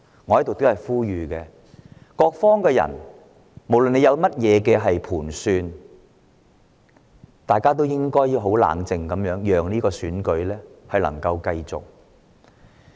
我在此呼籲各方人士，不論大家有何盤算，都請保持冷靜，讓這個選舉繼續進行。